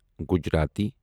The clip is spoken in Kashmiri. گجراتی